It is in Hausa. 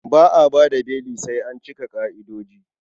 Ba a ba da beli sai an cika ƙa'idoji.